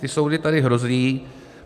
Ty soudy tady hrozí.